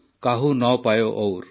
କାହୁ ନ ପାୟୋ ଔର୍